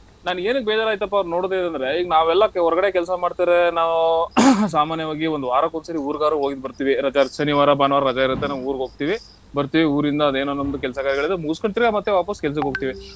ನನಿಗ್ ಏನಕ್ ಬೇಜಾರಾಯ್ತಪ್ಪ ಅವ್ರನ್ ನೋಡ್ತಾ ಇದ್ರಂತಂದ್ರೆ, ಈಗ್ ನಾವೆಲ್ಲ ಹೊರ್ಗಡೆ ಕೆಲ್ಸ ಮಾಡ್ತಾರೆ ನಾವ್ ಸಾಮಾನ್ಯವಾಗಿ ಒಂದ್ ವಾರಕ್ಕೊಂದ್ ಸರಿ ಊರ್ಗಾದ್ರೂ ಹೋಗಿದ್ ಬರ್ತೀವಿ. ರಜಾ ಶನಿವಾರ, ಭಾನುವಾರ ರಜಾ ಇರತ್ತೆ, ನಾವ್ ಊರ್ಗ್ ಹೋಗ್ತೀವಿ, ಬರ್ತೀವಿ. ಊರಿಂದ ಅದೇನೇನ್ ನಮ್ದು ಕೆಲ್ಸ ಕಾರ್ಯಗಳಿದೆ ಮುಗಿಸ್ಕೊಂತೀವಿ ಮತ್ತೆ ವಾಪಸ್ ಕೆಲ್ಸಕ್ ಹೋಗ್ತೀವಿ.